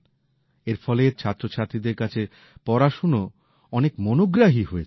এর ফলে ছাত্রছাত্রীদের কাছে পড়াশোনা অনেক মনোগ্রাহী হয়েছে